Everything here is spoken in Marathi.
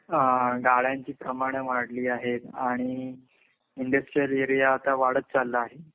अ अ गाड्यांची प्रमाण वाढली आहे आणि इंडस्ट्रियल एरिया आता वाढत चालला आहे.